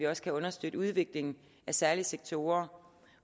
også kan understøtte udviklingen af særlige sektorer